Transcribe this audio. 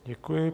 Děkuji.